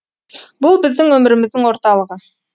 бұл біздің өміріміздің орталығы